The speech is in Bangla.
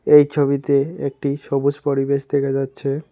এই ছবিতে একটি সবুজ পরিবেশ দেখা যাচ্ছে।